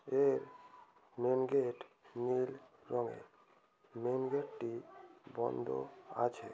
এর মেনগেট নীল রঙের মেইনগেট -টি বন্ধ আছে।